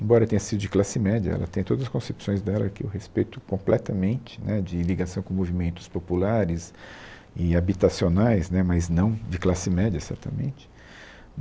Embora tenha sido de classe média, ela tem todas as concepções dela que eu respeito completamente né, de ligação com movimentos populares e habitacionais né, mas não de classe média, certamente.